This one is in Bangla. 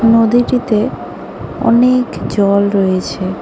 নদীটিতে অনেক জল রয়েছে।